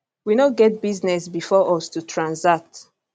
we no get business bifor us to transact